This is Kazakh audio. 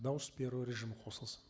дауыс беру режимі қосылсын